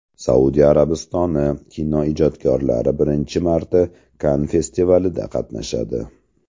Saudiya Arabistoni kinoijodkorlari birinchi marta Kann festivalida qatnashadi.